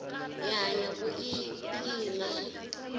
hi hanya ku i phina